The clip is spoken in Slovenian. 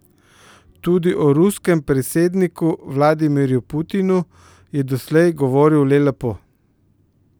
Tudi o ruskem predsedniku Vladimirju Putinu je doslej govoril le lepo.